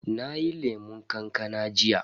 Nayi lemun kankana jiya.